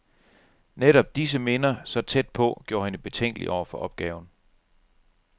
Netop disse minder, så tæt på, gjorde hende betænkelig over for opgaven.